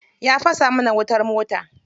Ya fasa mana wutar mota.